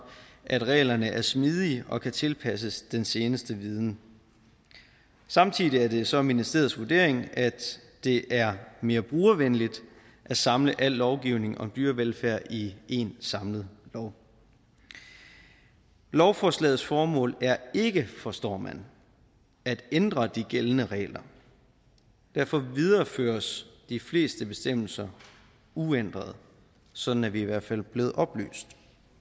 at reglerne er smidige og kan tilpasses den seneste viden samtidig er det så ministeriets vurdering at det er mere brugervenligt at samle al lovgivning om dyrevelfærd i én samlet lov lovforslagets formål er ikke forstår man at ændre de gældende regler derfor videreføres de fleste bestemmelser uændret sådan er vi i hvert fald blevet oplyst